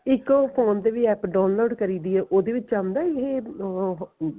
ਇੱਕ ਉਹ phone ਤੇ ਵੀ APP download ਕਰੀ ਪਈ ਐ ਉਹਦੇ ਵਿੱਚ ਆਂਦਾ ਇਹ ਉਹ ਉਮ